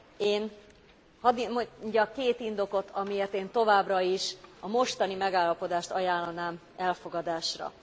Én hadd mondjak két indokot, amiért én továbbra is a mostani megállapodást ajánlanám elfogadásra.